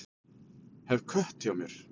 Hef kött hjá mér.